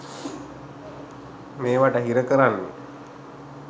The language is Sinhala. මේවාට හිර කරන්නේ